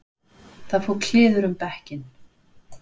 Það fór kliður um bekkinn.